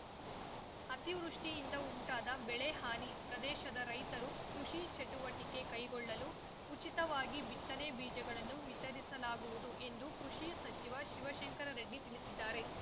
ಅತಿವೃಷ್ಟಿಯಿಂದ ಉಂಟಾದ ಬೆಳೆ ಹಾನಿ ಪ್ರದೇಶದ ರೈತರು ಕೃಷಿ ಚಟುವಟಿಕೆ ಕೈಗೊಳ್ಳಲು ಉಚಿತವಾಗಿ ಬಿತ್ತನೆ ಬೀಜಗಳನ್ನು ವಿತರಿಸಲಾಗುವುದು ಎಂದು ಕೃಷಿ ಸಚಿವ ಶಿವಶಂಕರ ರೆಡ್ಡಿ ತಿಳಿಸಿದ್ದಾರೆ